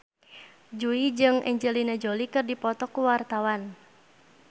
Jui jeung Angelina Jolie keur dipoto ku wartawan